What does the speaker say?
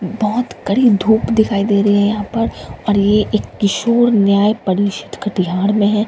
बहुत कडी धूप दिखाई दे रही है यहां पर और ये एक किशोर न्याय परिषद कटिहार में है।